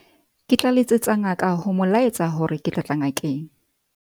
ke tla letsetsa ngaka ho mo laetsa hore ke tla tla ngakeng